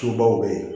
Tubabuw bɛ yen